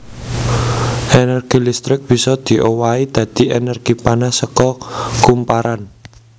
Énergi listrik bisa diowahi dadi énergi panas saka kumparan